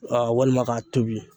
Aa walima k'a tobi